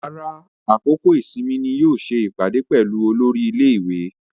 Rárá, àkókò ìsinmi ni yóò ṣe ìpàdé pẹ̀lú olórí ilé-ìwé.